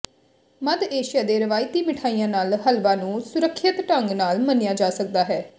ਮੱਧ Asia ਦੇ ਰਵਾਇਤੀ ਮਿਠਾਈਆਂ ਨਾਲ ਹਲਵਾ ਨੂੰ ਸੁਰੱਖਿਅਤ ਢੰਗ ਨਾਲ ਮੰਨਿਆ ਜਾ ਸਕਦਾ ਹੈ